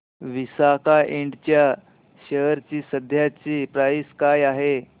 विसाका इंड च्या शेअर ची सध्याची प्राइस काय आहे